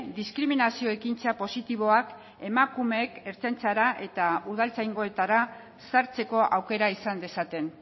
diskriminazio ekintza positiboak emakumeek ertzaintzara eta udaltzaingoetara sartzeko aukera izan dezaten